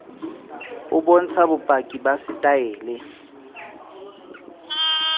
o bontsha bopaki ba setaele